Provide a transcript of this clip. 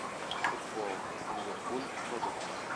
футбол ливерпуль тоттенхэм